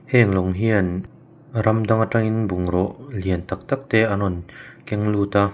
heng lawng hian ram dang a tang in bungraw lian tak tak te an rawn keng lut a.